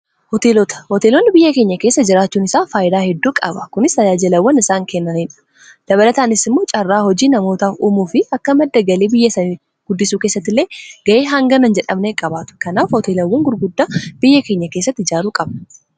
hooteelota; hooteeloonni biyya keenya keessa jiraachuun isaa faayyidaa hedduu qaba kunis tajaajilawwan isaan kennanidha dabalataanis immoo caarraa hojii namoota uumuu fi akka madda galii biyyasaa guddisuu keessatti illee ga'ee hanga hin jedhamne qabaatu. kanaaf hooteelawwan gurguddaa biyya keenya keessatti ijaaruu qabna.